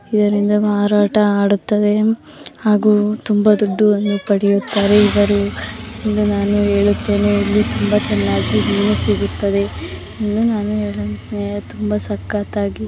ಇದರಿಂದ ಮಾರಾಟ ಹಾರುತ್ತದೆ ತುಂಬಾ ದುಡ್ಡು ಪಡೆಯೋತರ ಇದಾರೆ ಇವರು ನಾನು ಹೇಳುತ್ತೆಂದು ತುಂಬ ಸಕತ್ ಆಗಿದೆ.